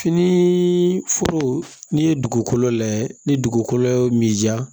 Fini foro n'i ye dugukolo lajɛ ni dugukolo ye min ja